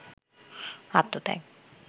আত্মত্যাগ